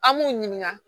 An b'u ɲininka